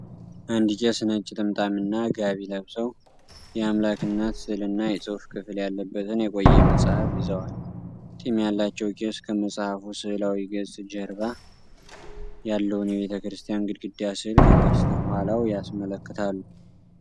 አንድ ቄስ ነጭ ጥምጣምና ጋቢ ለብሰው፤ የአምላክ እናት ሥዕልና የጽሑፍ ክፍል ያለበትን የቆየ መጽሐፍ ይዘዋል። ጢም ያላቸው ቄስ ከመጽሐፉ ሥዕላዊ ገጽ ጀርባ ያለውን የቤተክርስቲያን ግድግዳ ሥዕል ከበስተኋላው ያስመለክታሉ።